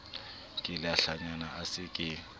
ke lehlanya a se ke